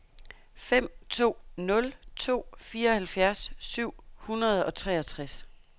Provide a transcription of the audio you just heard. fem to nul to fireoghalvtreds syv hundrede og treogtres